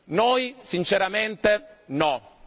Noi sinceramente no.